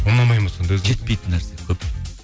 ұнамайды ма сонда жетпейтін нәрсе көп